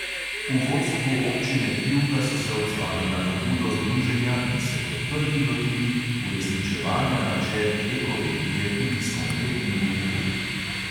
V vodstvu občine pivka so se odzvali na pobudo združenja in se kot prvi lotili uresničevanja načel ekoregije tudi s konkretnimi ukrepi.